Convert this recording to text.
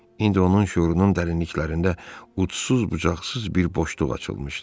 İndi onun şüurunun dərinliklərində udsus bucaqsız bir boşluq açılmışdı.